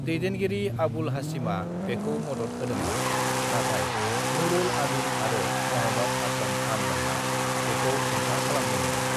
"दैदेनगिरि आबुल हाशिमा बेखौ मदद होदोंमोन, नाथाय नूरुल आमीन आरो महम्मद आक्राम खान मोनहा बेखौ हेंथा खालामदोंमोन।"